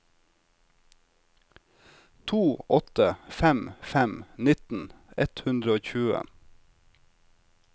to åtte fem fem nitten ett hundre og tjue